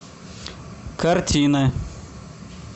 картины